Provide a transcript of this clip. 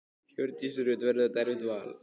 Hjördís Rut: Verður þetta erfitt val?